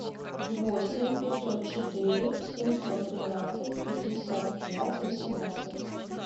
восемь пятьсот четыре семьсот тринадцать пятьдесят пять восемнадцать